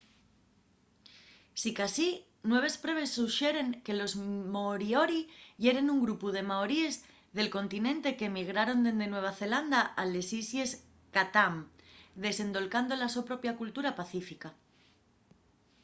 sicasí nueves pruebes suxeren que los moriori yeren un grupu de maoríes del continente qu’emigraron dende nueva zelanda a les islles chatham desendolcando la so propia cultura pacífica